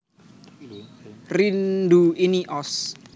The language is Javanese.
Rindu Ini Ost